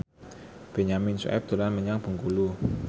Benyamin Sueb dolan menyang Bengkulu